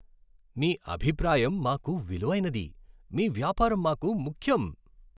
మీ అభిప్రాయం మాకు విలువైనది, మీ వ్యాపారం మాకు ముఖ్యం.